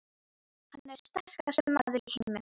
Hann er sterkasti maður í heimi!